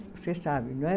Você sabe, não é?